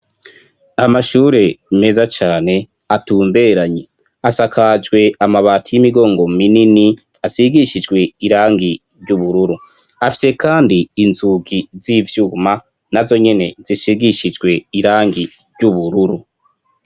Amashure meza cane atumberanye, asakajwe amabati y'imigongo minini asigishijwe irangi ry'ubururu, afise kandi inzugi z'ivyuma nazo nyene zisigishijwe irangi ry'ubururu.